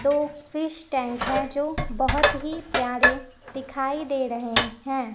दो fish tank हैं जो बहोत ही प्यारें दिखाई दे रहे हैं।